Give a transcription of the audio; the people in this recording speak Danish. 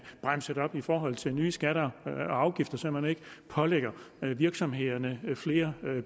bremset op i forhold til nye skatter og afgifter så man ikke pålægger virksomhederne flere